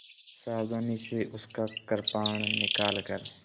सावधानी से उसका कृपाण निकालकर